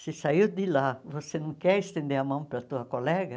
Se saiu de lá, você não quer estender a mão para a tua colega?